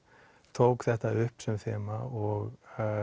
tók þetta upp sem þema og